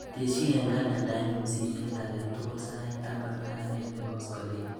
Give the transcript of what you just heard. Tesyi eng kalendainyu simet akatukul sait taman ak agenge koskoliny.